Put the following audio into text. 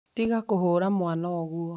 Tiga kũhũũra mwana ũguo